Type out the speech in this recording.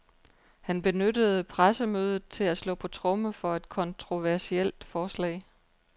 Han benyttede pressemødet til at slå på tromme for et kontroversielt forslag.